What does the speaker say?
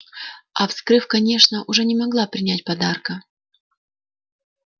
а вскрыв конечно уже не могла не принять подарка